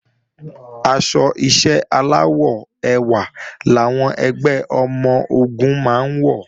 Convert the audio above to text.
Aṣọ iṣẹ́ aláwọ̀ ewé làwọn ẹgbẹ́ ọmọ-ogun máa ń wọ̀